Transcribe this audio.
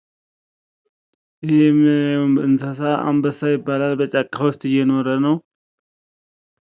ይህ የምናየው እንስሳ አንበሳ ይባላል። በጫካ ውስጥ እየኖረ ነው። ይህ የምናየው እንስሳ አንበሳ ይባላል። በጫካ ውስጥ እየኖረ ነው።